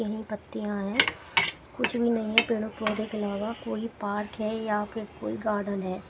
इन्हीं पत्तियां है कुछ भी नई है पेड़ों पौधों के अलावा कोई पार्क है यहां पे कोई गार्डन है।